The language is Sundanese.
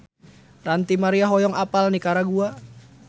Ranty Maria hoyong apal Nikaragua